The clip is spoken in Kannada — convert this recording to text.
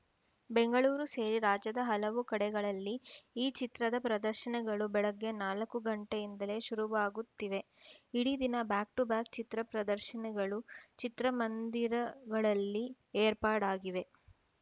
ಬೆಂಗಳೂರು ಸೇರಿ ರಾಜ್ಯದ ಹಲವು ಕಡೆಗಳಲ್ಲಿ ಈ ಚಿತ್ರದ ಪ್ರದರ್ಶನಗಳು ಬೆಳಗ್ಗೆ ನಾಲ್ಕು ಗಂಟೆಯಿಂದಲೇ ಶುರುವಾಗುತ್ತಿವೆ ಇಡೀ ದಿನ ಬ್ಯಾಕ್‌ ಟು ಬ್ಯಾಕ್‌ ಚಿತ್ರ ಪ್ರದರ್ಶನಗಳೂ ಚಿತ್ರಮಂದಿರದಲ್ಲಿ ಏರ್ಪಾಡಾಗಿವೆ